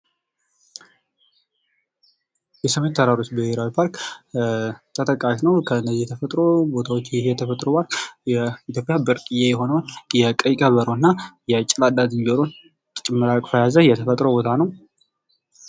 የሰሜን ተራሮች ብሄራዊ ፓርክ ተጠቃሽ ሲሆን የተፈጥሮ ቦታወች ይህ የተፈጥሮ ቦታዎች ብርቅየ የሆነውን ቀይ ቀበሮ እና የጭላዳ ዝንጀሮ የያዘ የተፈጥሮ ቦታ ነው።